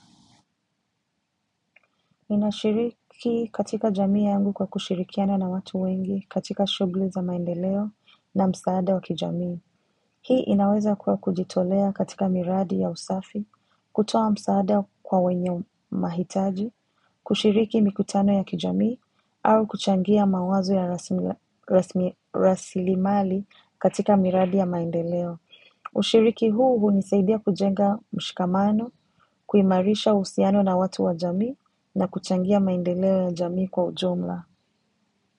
Inashiriki katika jamii yangu kwa kushirikiana na watu wengi katika shugli za maendeleo na msaada wa kijamii. Hii inaweza kuwa kujitolea katika miradi ya usafi, kutoa msaada kwa wenye mahitaji, kushiriki mikutano ya kijamii, au kuchangia mawazo ya rasili mali katika miradi ya maendeleo. Ushiriki huu unisaidia kujenga mshikamano, kuimarisha uhusiano na watu wa jamii na kuchangia maindeleo ya jamii kwa ujumla.